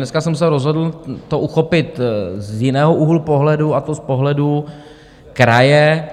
Dneska jsem se rozhodl to uchopit z jiného úhlu pohledu, a to z pohledu kraje,